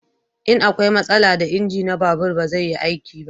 In akwai matsala da inji na babur ba zai yi aiki ba